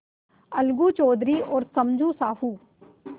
अलगू चौधरी और समझू साहु